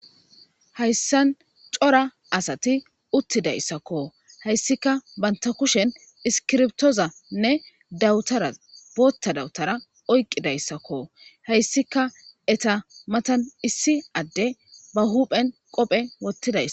hayssan cora asati uttidayssakko hayssika banta kushen iskirtoozanne dawutara bootta dawutara oyqidayssakko hayssika eta matan issi adde ba huphen qophe wottiday